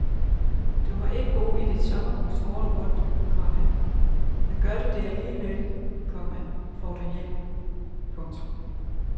Du må ikke bo i dit sommerhus året rundt, komma men gør du det alligevel, komma får du hjælp. punktum